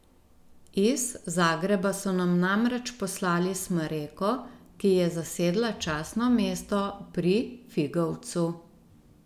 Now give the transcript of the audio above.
Iz Zagreba so nam namreč poslali smreko, ki je zasedla častno mesto pri Figovcu.